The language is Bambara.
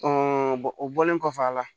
o bɔlen kɔfɛ a la